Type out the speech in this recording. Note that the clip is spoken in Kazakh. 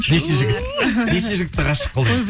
неше жігіт неше жігітті ғашық қылдыңыз